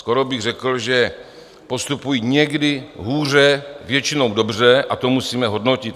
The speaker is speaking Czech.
Skoro bych řekl, že postupují někdy hůře, většinou dobře, a to musíme hodnotit.